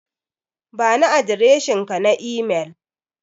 Bani adireshinka na imel.